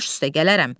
Baş üstə gələrəm.